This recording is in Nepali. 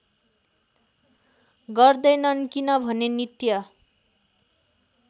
गर्दैनन् किनभने नित्य